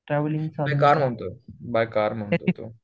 नाही कार म्हणतोय, bye car म्हणतोय